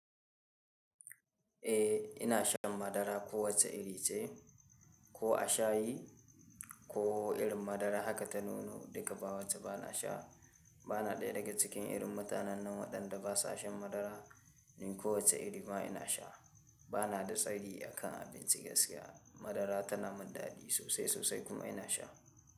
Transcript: Eh ina shan madara kowace iri ce ko a shayi ko irin madara haka ta nuno duka bawace bana sha. Bana ɗaya daga cikin irin mutanen nan waɗanda ba sa shan madara, ni kowace iri ma ina sha. Bana da tsari akan abinci gaskiya madara tana mun daɗi sosai sosai kuma ina sha.